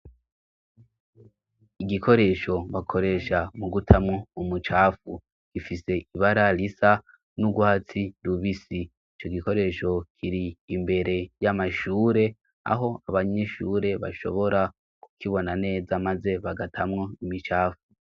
Igikoresho bakoresha mu gutamwo umucafu gifise ibara risa n'ugwatsi rubisi ico gikoresho kiri imbere y'amashure aho abanyishure bashobora kukibona neza, maze bagatamwo imicafu.